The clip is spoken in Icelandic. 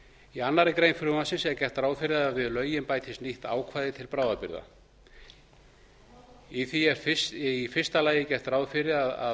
í annarri grein frumvarpsins er gert ráð fyrir að við lögin bætist nýtt ákvæði til bráðabirgða í því er í fyrsta lagi gert ráð fyrir því að